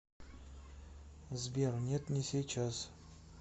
сбер нет не сейчас